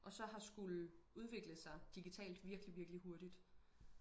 og så har skulle udvikle sig digitalt virkelig virkelig hurtigt